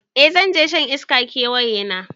Eh zanje shan iska da ƙawayena